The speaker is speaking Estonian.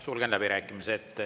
Sulgen läbirääkimised.